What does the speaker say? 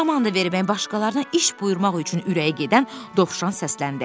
Komanda vermək, başqalarına iş buyurmaq üçün ürəyi gedən Dovşan səsləndi.